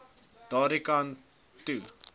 daardie kant toe